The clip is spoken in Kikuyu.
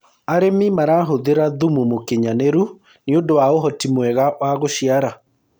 arĩmi marahuthira thumu mũũkĩnyanĩru nĩũndũ wa uhoti mwega wa guciara